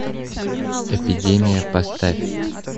эпидемия поставь